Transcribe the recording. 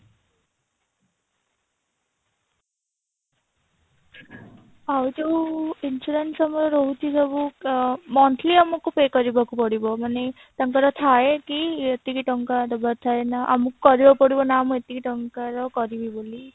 ଆଉ ଯୋଉ insurance ଆମର ରହୁଛି ସବୁ ଅ monthly ଆମକୁ pay କରିବାକୁ ପଡିବ ମାନେ ତାଙ୍କର ଥାଏ କି ଏତିକି ଟଙ୍କା ଦବାର ଥାଏ ନା ଆମକୁ କାଇବାକୁ ପଡିବ ନା ଆମେ ଏତିକି ଟଙ୍କାର କରିବୁ ବୋଲି